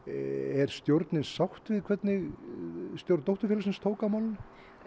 er stjórnin sátt við hvernig stjórn dótturfélagsins tók á málinu